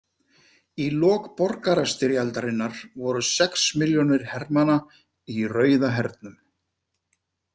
Í lok borgarastyrjaldarinnar voru sex milljónir hermanna í Rauða hernum.